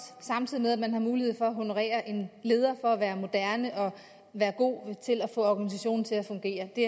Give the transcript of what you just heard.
samtidig med at man har mulighed for at honorere en leder for at være moderne og være god til at få organisationen til at fungere det